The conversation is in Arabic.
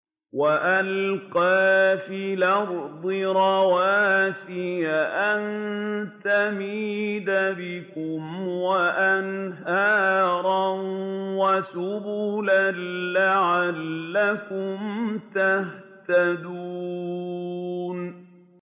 وَأَلْقَىٰ فِي الْأَرْضِ رَوَاسِيَ أَن تَمِيدَ بِكُمْ وَأَنْهَارًا وَسُبُلًا لَّعَلَّكُمْ تَهْتَدُونَ